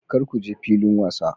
Kar ku je filin wasa.